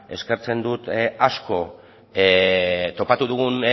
eskertzen dut asko topatu dugun